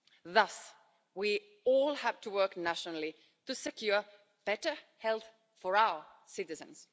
Thus we all have to work nationally to secure better health for our citizens.